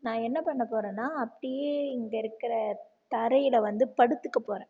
நான் என்ன பண்ண போறேன்னா அப்படியே இங்கே இருக்கிற தரையிலே வந்து படுத்துக்க போறேன்